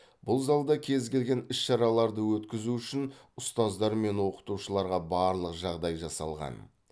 бұл залда кез келген іс шараларды өткізу үшін ұстаздар мен оқытушыларға барлық жағдай жасалған